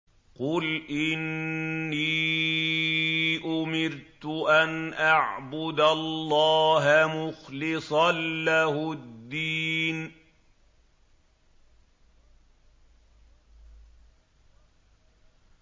قُلْ إِنِّي أُمِرْتُ أَنْ أَعْبُدَ اللَّهَ مُخْلِصًا لَّهُ الدِّينَ